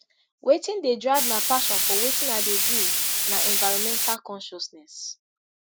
wetin dey drive my passion for wetin i dey do na environmental consciousness